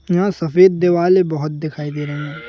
यहां सफेद दिवाले बहोत दिखाई दे रहे--